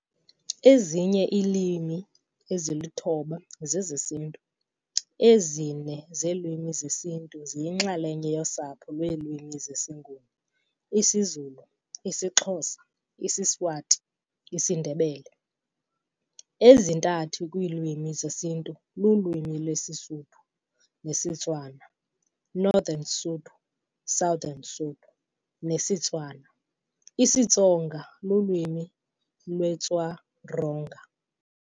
Ezinye iilwimi eziluthoba zezesiNtu. ezine zeelwimi zesiNtu ziyinxalenye yosapho lweelwimi zesiNguni, isiZulu, isiXhosa, isiSwati, isiNdebele. Ezintathu kwiilwimi zesiNtu lulwimi lwesiSuthu-nesiTswana, Northern Sotho, Southern Sotho, nesiTswana. isiTsonga lulwimi lweTswa-Ronga.